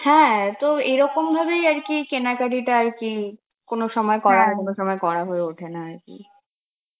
হ্যাঁ তো এরকম ভাবেই আর কি কেনাকাটা আর কি কোন সময় করা হয় কোন সময় করা হয়ে ওঠে না আর কি.